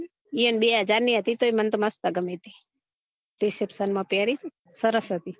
યો ને બે હજાર ની હતી તો અ મને તો મસ્ત ગમી તી reception માં પેરી તી ને સરસ હતી